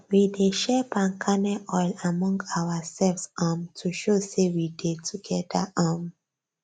we dey share palm kernel oil among ourselves um to show say we dey together um